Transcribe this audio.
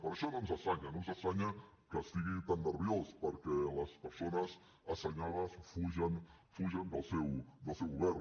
per això no ens estranya no ens estranya que estigui tan nerviós perquè les persones assenyades fugen del seu govern